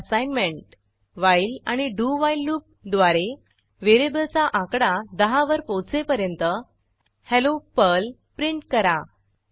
आता assignment while आणि do while loop द्वारे व्हेरिएबलचा आकडा 10 वर पोहोचेपर्यंत हेल्लो पर्ल प्रिंट करा